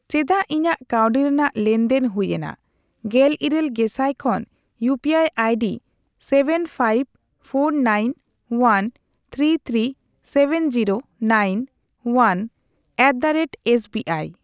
ᱪᱮᱫᱟᱜ ᱤᱧᱟᱹᱜ ᱠᱟᱣᱰᱤ ᱨᱮᱱᱟᱜ ᱞᱮᱱᱫᱮᱱ ᱦᱩᱭᱮᱱᱟ ᱜᱮᱞᱤᱨᱟᱹᱞ ᱜᱮᱥᱟᱭ ᱠᱷᱚᱱ UPI ID seven five four nine one three three seven zero nine one at the rate SBI.